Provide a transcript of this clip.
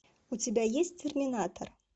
у тебя есть терминатор